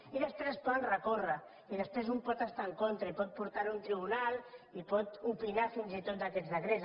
i després es poden recórrer i després un pot estar hi en contra i pot portar ho a un tribunal i pot opinar fins i tot d’aquests decrets